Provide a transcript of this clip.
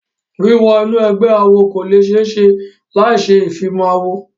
Wíwo inú ẹgbẹ́ awo kò le ṣe é ṣe láì ṣe ìfimawo.